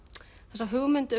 þessi hugmynd